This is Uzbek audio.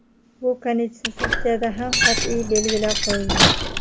Bu Konstitutsiyada ham qat’iy belgilab qo‘yilgan.